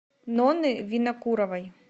нонны винокуровой